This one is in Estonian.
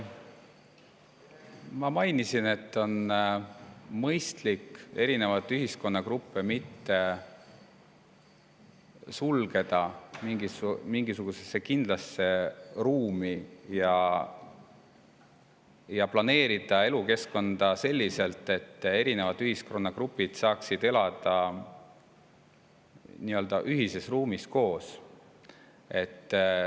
Ma mainisin, et on mõistlik erinevaid ühiskonnagruppe mitte sulgeda mingisugusesse kindlasse ruumi ja planeerida elukeskkonda selliselt, et erinevad ühiskonnagrupid saaksid elada nii-öelda ühises ruumis koos.